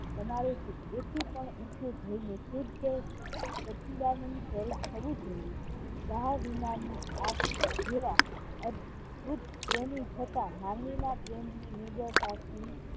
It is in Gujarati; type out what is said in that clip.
તમારે એ થી પણ ઉંચે જઈને શુદ્ધે સચિદાનંદ થવું જોયે ડાહ વિનાની આ જેવા અદભુત પ્રેમી છતાં માનવીના પ્રેમની વિગત આખી